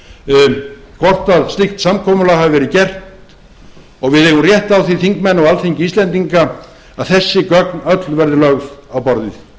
þessarar umræðu hvort slíkt samkomulag hafi verið gert og við eigum rétt á því þingmenn og alþingi íslendinga að þessi gögn öll verði lögð á borðið